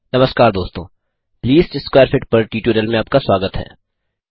नमस्कार दोस्तों least square fit पर ट्यूटोरियल में आपका स्वागत है